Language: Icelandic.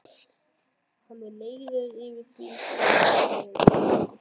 Hann er leiður yfir því hvað hún er orðin full.